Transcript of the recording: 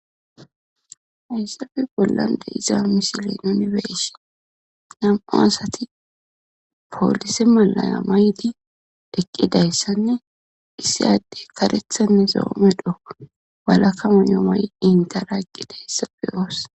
haysafe bollande iza misile yunibersi nam7o asati poolise malaya mayti deqqidayssanne issi adde karethanne zoome dho walakka munomay7 intera eqqidayssa beyoos